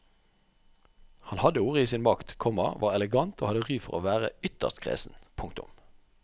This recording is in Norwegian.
Han hadde ordet i sin makt, komma var elegant og hadde ry for å være ytterst kresen. punktum